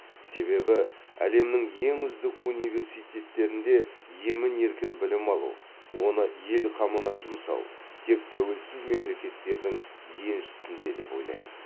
себебі әлемнің ең үздік университеттерінде емін еркін білім алу оны ел қамына жұмсау тек тәуелсіз мемлекеттердің еншісінде деп ойлаймын